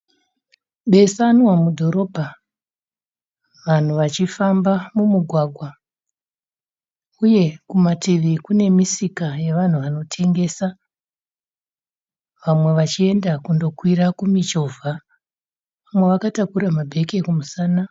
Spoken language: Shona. Besanwa mudhorobha vanhu vachifamba mumugwagwa uye kumativi kune misika yevanhu vanotengesa. Vamwe vachienda kundokwira kumichovha. Umwe akatakura mabheke kumusana.